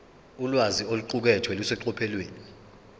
ulwazi oluqukethwe luseqophelweni